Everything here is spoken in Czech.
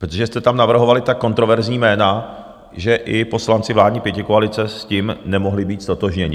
Protože jste tam navrhovali tak kontroverzní jména, že i poslanci vládní pětikoalice s tím nemohli být ztotožněni.